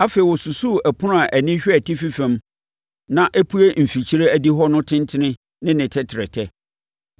Afei ɔsusuu ɛpono a ani hwɛ atifi fam na ɛpue mfikyire adihɔ no tentene ne ne tɛtrɛtɛ.